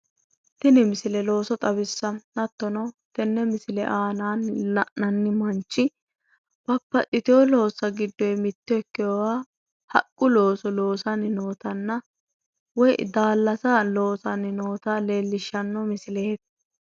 Tini misile looso xawissanno hattono tenne misile aanaanni la'nanni manchi babbaxxitewo loossa giddoyi mitto ikkewoha haqqu looso loosanni nootanna woyi daallasa loosanni noota leellishshanno misileeti